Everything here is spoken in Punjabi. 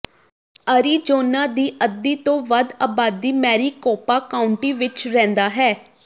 ਅਰੀਜ਼ੋਨਾ ਦੀ ਅੱਧੀ ਤੋਂ ਵੱਧ ਆਬਾਦੀ ਮੈਰੀਕੋਪਾ ਕਾਉਂਟੀ ਵਿਚ ਰਹਿੰਦਾ ਹੈ